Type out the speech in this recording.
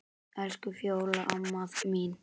Elsku Fjóla amma mín.